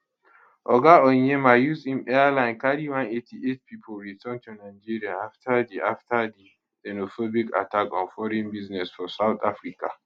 oga onyeama use im airline carri 188 pipo return to nigeria afta di afta di xenophobic attack on foreign business for south africa